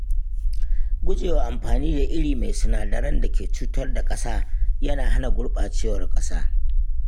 Gujewa amfani da iri mai sinadaran da ke cutar da ƙasa yana hana gurɓacewar ƙasa.